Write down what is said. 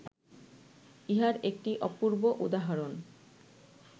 ইহার একটি অপূর্ব উদাহরণ